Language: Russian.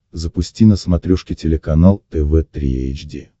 запусти на смотрешке телеканал тв три эйч ди